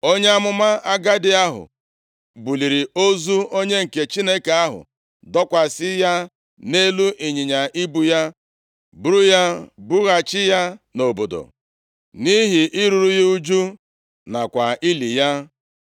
Onye amụma agadi ahụ buliri ozu onye nke Chineke ahụ dọkwasị ya nʼelu ịnyịnya ibu ya, buru ya bughachi ya nʼobodo, nʼihi iruru ya ụjụ, nakwa ili ya.